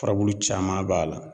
Furabulu caman b'a la